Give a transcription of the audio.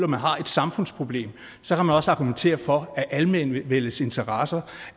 man har et samfundsproblem så kan man også argumentere for at almenvellets interesse